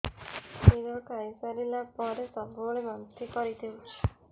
କ୍ଷୀର ଖାଇସାରିଲା ପରେ ସବୁବେଳେ ବାନ୍ତି କରିଦେଉଛି